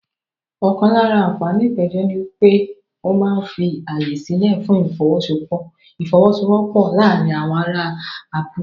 Ọ̀kan lára àǹfààní ìpéjọ ni pé ó máa ń fi ààyè sílẹ̀ fún ìfọ́wọ́sọwọ́pọ̀ láàárín àwọn ará abúlé.